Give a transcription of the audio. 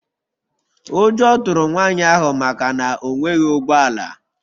Ụjọ tụrụ nwanyị ahụ maka na o nweghị ụgbọ ala.